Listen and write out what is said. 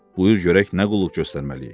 Buyur görək nə qulluq göstərməliyik?